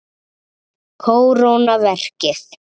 Kóróna verkið.